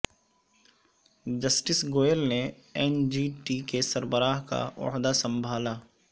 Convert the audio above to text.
justice Goel نے N G T کے سربراہ کا عہدہ سنبھالا